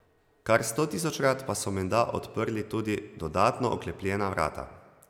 Kar stotisočkrat pa so menda odprli tudi dodatno oklepljena vrata.